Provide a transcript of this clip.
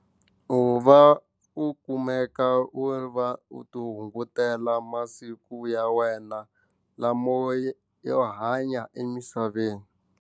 U va u kumeka u ri va u ti hungutela masiku ya wena lama yo hanya emisaveni.